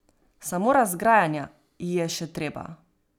Samo razgrajanja ji je še treba.